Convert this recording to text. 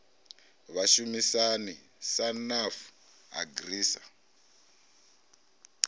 vhashumisani sa nafu agri sa